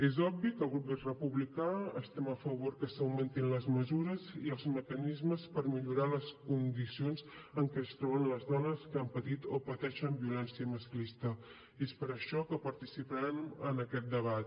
és obvi que al grup republicà estem a favor que s’augmentin les mesures i els mecanismes per millorar les condicions en què es troben les dones que han patit o pateixen violència masclista i és per això que participarem en aquest debat